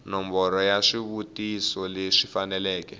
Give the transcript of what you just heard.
nomboro ya swivutiso leswi faneleke